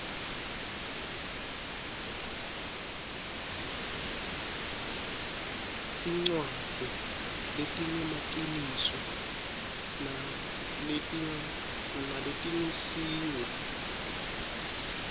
tincwadzi letingemaciniso naletingesiwo